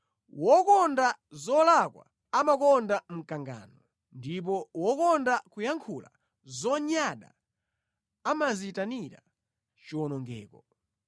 Wokonda zolakwa amakonda mkangano, ndipo wokonda kuyankhula zonyada amadziyitanira chiwonongeko.